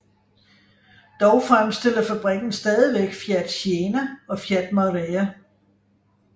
Dog fremstiller fabrikken stadigvæk Fiat Siena og Fiat Marea